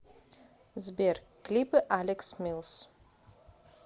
сбер клипы алекс милс